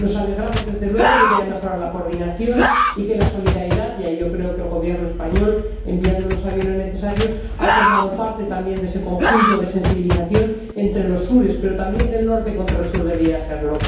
Nos alegramos, desde luego, de que haya mejorado la coordinación y de que la solidaridad, y ahí yo creo que el Gobierno español, enviando los aviones necesarios, ha formado parte también de ese conjunto de sensibilización entre los Sures, pero también del Norte con el Sur debiera serlo.